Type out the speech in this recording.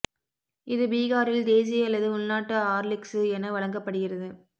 இது பீகாரில் தேசி அல்லது உள்நாட்டு ஆர்லிக்சு என வழங்கப்படுகிறது